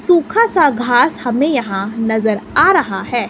सुखा सा घास हमें यहां नज़र आ रहा है।